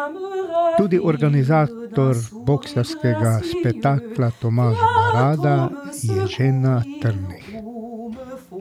Tudi organizator boksarskega spektakla Tomaž Barada je že na trnih.